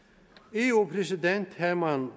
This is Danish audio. eu præsident herman